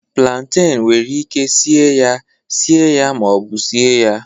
planten nwere ike sie ya, sie ya ma ọ bụ sie ya